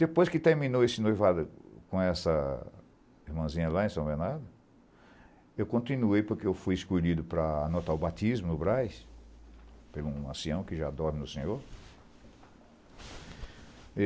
Depois que terminou esse noivado com essa irmãzinha lá em São Bernardo, eu continuei, porque eu fui escolhido para anotar o batismo no Brás, por um ancião que já dorme no Senhor.